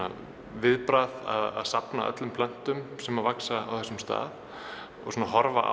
viðbragð að safna öllum plöntum sem vaxa á þessum stað og horfa